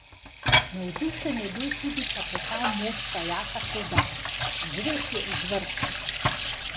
Navdušen je bil tudi kapetan moštva Jaka Sovdat: "Žreb je izvrsten.